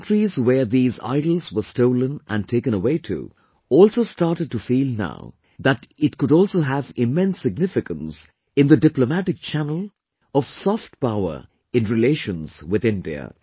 The countries where these idols were stolen and taken away to, also started to feel now that it could also have immense significance in the diplomatic channel of soft power in relations with India